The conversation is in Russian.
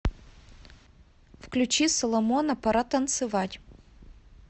включи соломона пора танцевать